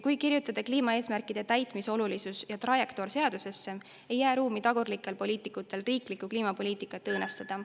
Kui kirjutada kliimaeesmärkide täitmise olulisus ja trajektoor seadusesse, ei jää ruumi tagurlikele poliitikutele, et riiklikku kliimapoliitikat õõnestada.